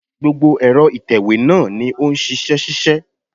Gbogbo ẹ̀rọ ìtẹ̀wé náà ni ó ń ṣiṣẹ́ṣíṣẹ́.